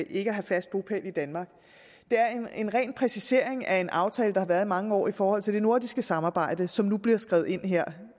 ikke at have fast bopæl i danmark det er en ren præcisering af en aftale der har været i mange år i forhold til det nordiske samarbejde og som nu bliver skrevet ind her